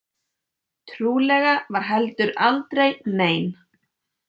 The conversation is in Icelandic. Trúlega var heldur aldrei nein.